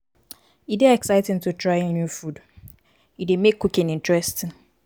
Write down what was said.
e dey exciting to try new food e dey make cooking interesting.